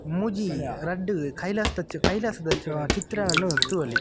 ಮೂಜಿ ರಡ್ಡ್ ಕೈಲಾಸ ಕೈಲಾಸದಂಚ ಚಿತ್ರಾನ್ ತೂವೊಲಿ .